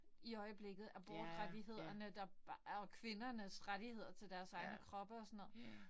I øjeblikket. Abortrettighederne der og kvindernes rettigheder til deres egne kroppe og sådan noget